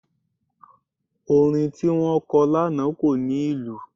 Orin tí wọ́n kọ lánàá kò ní ìlù.